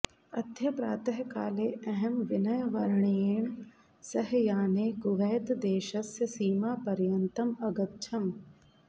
अद्य प्रातःकाले अहं विनयवर्येण सह याने कुवैतदेशस्य सीमापर्यन्तम् अगच्छम्